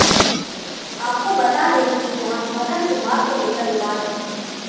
आपको बता दें कि यहां मोहर्रम के मार्ग को लेकर विवाद है